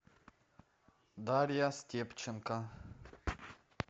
дарья степченко